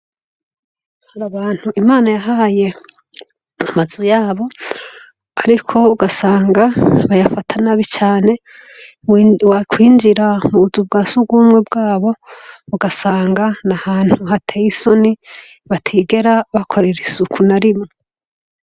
Hari abantu imana yahaye amazu yabo, ariko ugasanga bayafata na bi cane wa kwinjira mubuzu bwa si ugumwe bwabo ugasanga na ahantu hateye isoni batigera bakorera isuku na rimwo.